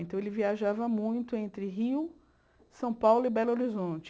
Então, ele viajava muito entre Rio, São Paulo e Belo Horizonte.